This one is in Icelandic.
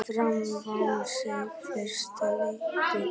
Fram vann sinn fyrsta titil.